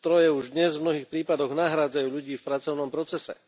Stroje už dnes v mnohých prípadoch nahrádzajú ľudí v pracovnom procese.